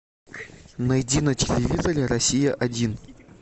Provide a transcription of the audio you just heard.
найди на телевизоре россия один